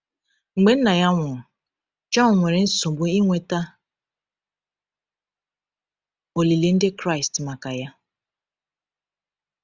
Mgbe nna ya nwụrụ, Jọn nwere nsogbu ịnweta olili Ndị Kraịst maka ya.